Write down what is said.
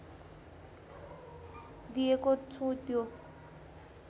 दिएको छु त्यो